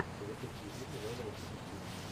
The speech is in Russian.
запусти фильм жанра детектив